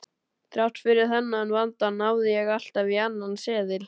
Þrátt fyrir þennan vanda náði ég alltaf í annan seðil.